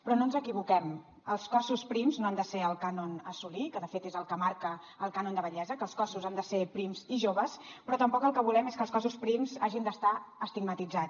però no ens equivoquem els cossos prims no han de ser el cànon a assolir que de fet és el que marca el cànon de bellesa que els cossos han de ser prims i joves però tampoc el que volem és que els cossos prims hagin d’estar estigmatitzats